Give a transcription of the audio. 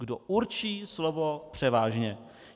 Kdo určí slovo převážně?